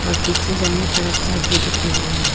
और पीछे जाने का रास्ता भी दिख रही है।